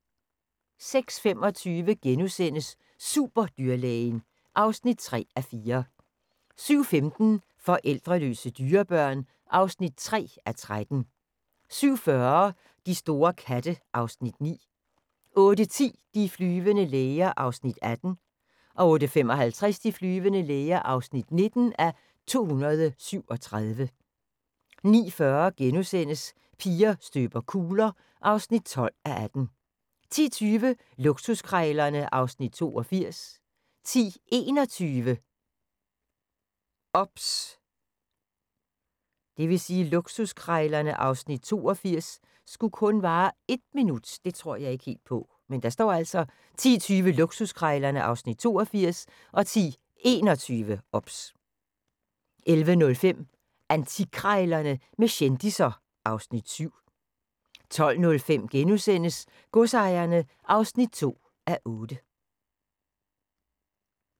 06:25: Superdyrlægen (3:4)* 07:15: Forældreløse dyrebørn (3:13) 07:40: De store katte (Afs. 9) 08:10: De flyvende læger (18:237) 08:55: De flyvende læger (19:237) 09:40: Piger støber kugler (12:18)* 10:20: Luksuskrejlerne (Afs. 82) 10:21: OBS 11:05: Antikkrejlerne med kendisser (Afs. 7) 12:05: Godsejerne (2:8)*